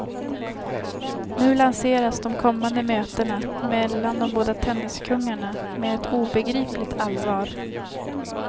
Nu lanseras de kommande mötena mellan de båda tenniskungarna med ett obegripligt allvar.